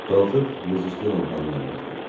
Qalxıb miz üstü lampanı yandırdım.